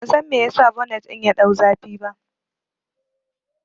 Ban san me yasa bonet ɗin ya ɗau zafi ba